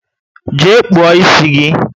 Jee kpuo ịsị gị!